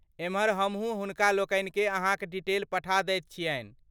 एमहर, हमहूँ हुनकालोकनिकेँ अहाँक डिटेल पठा दैत छियनि।